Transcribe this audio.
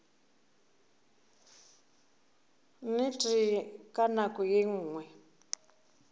nnete ka nako ye nngwe